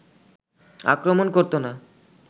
আক্রমণ করতো না